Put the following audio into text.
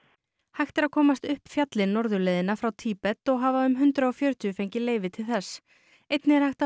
hægt er að komast upp fjallið norðurleiðina frá Tíbet og hafa um hundrað og fjörutíu fengið leyfi til þess einnig er hægt að